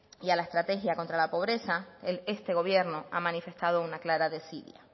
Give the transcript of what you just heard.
y a la estrategia contra la pobreza este gobierno ha manifestado una clara desidia